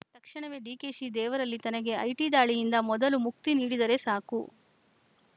ತಕ್ಷಣವೇ ಡಿಕೆಶಿ ದೇವರಲ್ಲಿ ತನಗೆ ಐಟಿ ದಾಳಿಯಿಂದ ಮೊದಲು ಮುಕ್ತಿ ನೀಡಿದರೆ ಸಾಕು